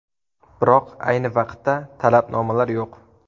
Biroq ayni vaqtda talabnomalar yo‘q.